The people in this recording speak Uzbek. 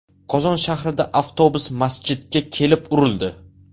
Qozon shahrida avtobus masjidga kelib urildi.